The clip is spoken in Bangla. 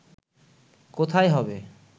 কোথায় হবে